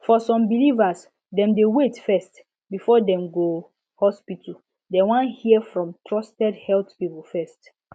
for some believers dem dey wait first before dem go hospital dem wan hear from trusted health people first